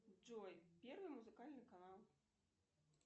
джой первый музыкальный канал